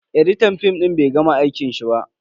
Editan fim din bai gama aikin shi ba.